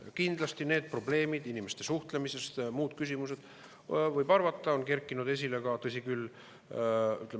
Ja kindlasti need inimeste suhtlemise probleemid, muud küsimused, võib arvata, on kerkinud esile ka.